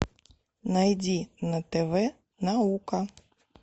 найди на тв наука